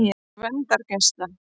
Gvendargeisla